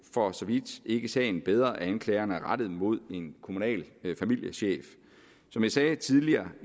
for så vidt ikke sagen bedre at anklagerne er rettet mod en kommunal familiechef som jeg sagde tidligere